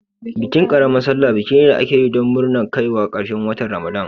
Bikin ƙaramar salla biki ne da ake yi don nurna kaiwa ƙarshen watan Ramadan.